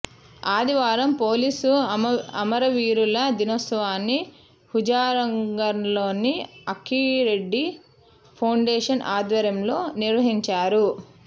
ఆదివారం పోలీసు అమరవీరుల దినోత్సవాన్ని హుజూర్నగర్లోని ఆంకిరెడ్డి ఫౌండేషన్ ఆధ్వర్యంలో నిర్వహించారు